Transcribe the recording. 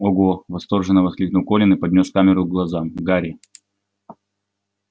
ого восторженно воскликнул колин и поднёс камеру к глазам гарри